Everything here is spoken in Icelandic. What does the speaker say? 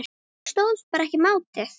Ég stóðst bara ekki mátið.